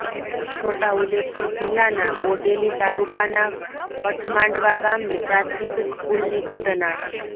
છોટાઉદેપુર જિલ્લાના બોડેલી તાલુકાના કઠમાંડવા ગામની પ્રાથમિક સ્કુલની ઘટના